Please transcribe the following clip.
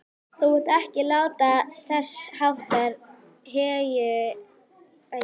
Þú mátt ekki láta þessháttar hégiljur slá þig útaf laginu.